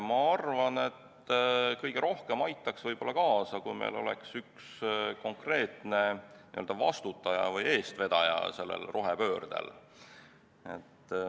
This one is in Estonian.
Ma arvan, et kõige rohkem aitaks kaasa see, kui meil oleks üks konkreetne vastutaja või eestvedaja sellel rohepöördel.